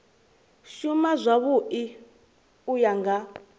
shuma zwavhui u ya nga